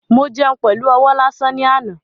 Mo jẹun pẹlu ọwọ́ lásán ni àná